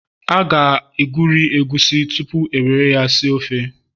a ga-egweri egusi tupu e were ya si ofe